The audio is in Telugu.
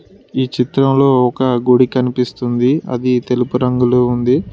ఈ చిత్రంలో ఒక గుడి కనిపిస్తుంది అది తెలుపు రంగులో ఉంది.